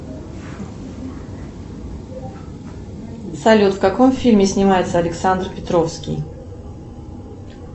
салют в каком фильме снимается александр петровский